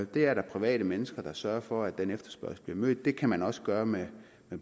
der er private mennesker der sørger for at den efterspørgsel bliver mødt det kan man også gøre med